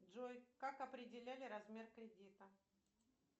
джой как определяли размер кредита